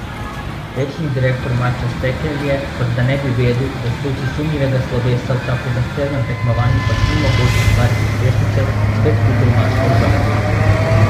Večni direktor Matjaž Sekelj je, kot da ne bi vedel, da s tujci sumljivega slovesa v tako zahtevnem tekmovanju pač ni mogoče ustvariti uspešnice, spet kupil mačka v žaklju.